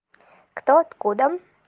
кто откуда